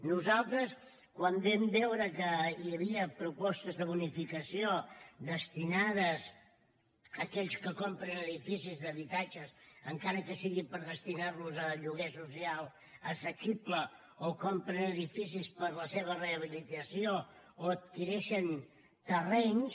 nosaltres quan vam veure que hi havia propostes de bonificació destinades a aquells que compren edificis d’habitatges encara que sigui per destinar los a lloguer social assequible o compren edificis per a la seva rehabilitació o adquireixen terrenys